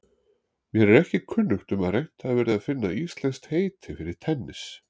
Mér er ekki kunnugt um að reynt hafi verið að finna íslenskt heiti fyrir tennis.